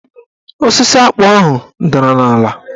Osisi akpụ ahụ dara n'ala.